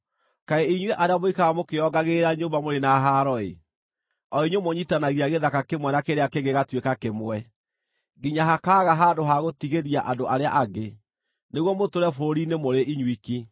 Kaĩ, inyuĩ arĩa mũikaraga mũkĩĩongagĩrĩra nyũmba mũrĩ na haro-ĩ! O inyuĩ mũnyiitithanagia gĩthaka kĩmwe na kĩrĩa kĩngĩ gĩgatuĩka kĩmwe, nginya hakaaga handũ ha gũtigĩria andũ arĩa angĩ, nĩguo mũtũũre bũrũri-inĩ mũrĩ inyuiki.